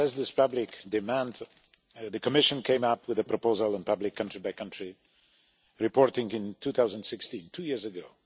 To address this public demand, the Commission came up with a proposal and public country-by-country reporting in 2016 two years ago.